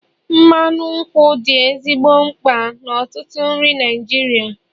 mmanụ nkwụ dị ezigbo mkpa n'ọtụtụ nri Naijiria